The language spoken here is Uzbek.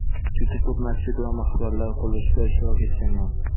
Juda ko‘p masjid va maqbaralar qurilishida ishtirok etganman.